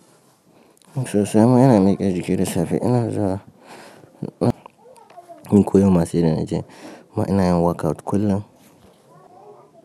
Sosai ma ina miƙa jiki da safe, ina zuwa na don ko yau ma sai da na je amma ina yin workout kullum.